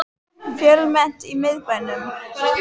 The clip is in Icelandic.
Fjölmennt í miðbænum